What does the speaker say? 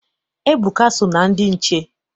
Ebuka so na ndị nche.